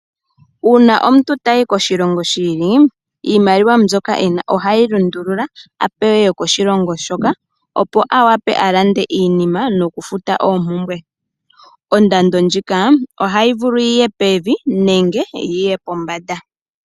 Una omuntu tayi koshilongo shi ili iimaliwa mbyoka ena ohayi lundulula a pewe yokoshilongo shoka. Opo awape a lande iinima noku futa oompumbwe. Ondando ndjika ohayi vulu yiye pevi nenge yiye pombanda.